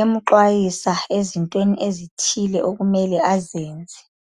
emxhwayisa ezintweni ezithile okumele azenze